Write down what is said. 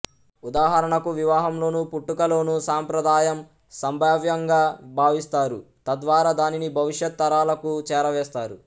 ఉదాహరణకు వివాహంలోను పుట్టుకలోను సంప్రదాయం సంభావ్యంగా భావిస్తారు తద్వారా దానిని భవిష్యత్ తరాలకు చేరవేస్తారు